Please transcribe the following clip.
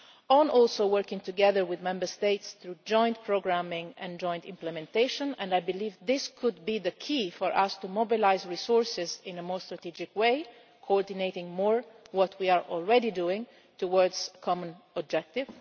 it on working together with Member States through joint programming and joint implementation, which I believe could be the key for us to mobilise resources in a more strategic way, coordinating more what we are already doing towards a common objective.